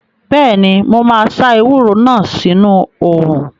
Bẹ́ẹ̀ni, mo máa sá ewúro náà sínu òrùn